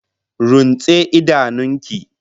Runtse idanun ki!